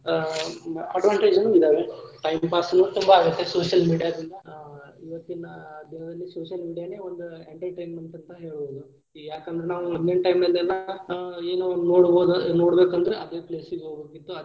ಆ advantage ನು ಅದಾವ time pass ನು ತುಂಬಾ ಆಗತ್ತ social media ದಿಂದ ಆ ಇವತ್ತಿನ ದಿನದಲ್ಲಿ social media ನೇ ಒಂದು entertainment ಆಗಿರಬಹುದು ಯಾಕಂದ್ರ ನಾವು ಮೊದ್ಲಿನ time ಲ್ಲಿ ಎಲ್ಲಾ ಏನೋ ಒಂದ ನೋಡಬಹುದ ನೋಡಬೇಕಂದ್ರ ಅದೆ place ಗ ಹೋಗ್ಬೇಕಿತ್ತ.